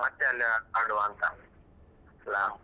ಮತ್ತೆ ಅಲ್ಲಿ ಆ~ ಆಡುವ ಅಂತ ಅಲ.